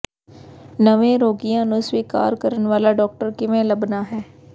ਨਵੇਂ ਰੋਗੀਆਂ ਨੂੰ ਸਵੀਕਾਰ ਕਰਨ ਵਾਲਾ ਡਾਕਟਰ ਕਿਵੇਂ ਲੱਭਣਾ ਹੈ